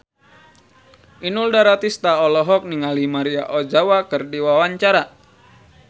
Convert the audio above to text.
Inul Daratista olohok ningali Maria Ozawa keur diwawancara